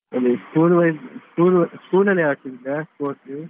ಅದೇ school wise~ school ಅಲ್ಲಿ school ಅಲ್ಲಿ ಆಡ್ತಿದ್ದೆ sports ?